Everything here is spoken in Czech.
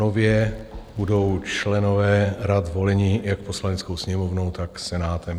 Nově budou členové rad voleni jak Poslaneckou sněmovnou, tak Senátem.